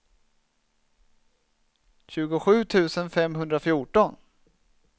tjugosju tusen femhundrafjorton